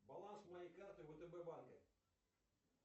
баланс моей карты втб банка